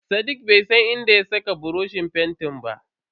Sadiq bai san inda ya saka buroshin fentin ba.